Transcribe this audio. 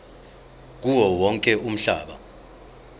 kuwo wonke umhlaba